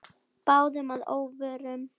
Báðum að óvörum.